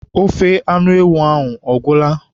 Ofe anụ ewu ahụ agwụla?